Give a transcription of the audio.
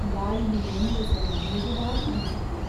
ಗಾಳಿಯು ಒಂದು ಸಲ ಮೃದುವಾಗಿ ಬೀಸಿತು.